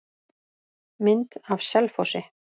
Mynd af Selfossi.